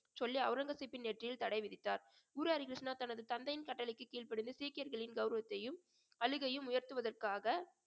சொல்லி அவுரங்கசீப்பின் தடை விதித்தார் குரு ஹரிகிருஷ்ணா தனது தந்தையின் கட்டளைக்கு கீழ்படிந்து சீக்கியர்களின் கௌரவத்தையும் உயர்த்துவதற்காக